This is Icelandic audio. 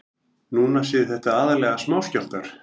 Núna séu þetta aðallega smáskjálftar